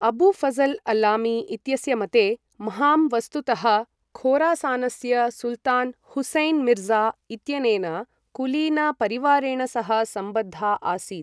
अबू ऴजल् अल्लामी इत्यस्य मते, म्हाम् वस्तुतः खोरासानस्य सुल्तान् हुसैन् मिर्ज़ा इत्यनेन कुलीनपरिवारेण सह सम्बद्धा आसीत्।